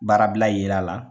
Baarabila yera a la